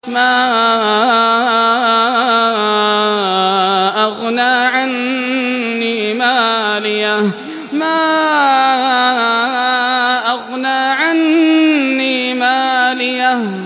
مَا أَغْنَىٰ عَنِّي مَالِيَهْ ۜ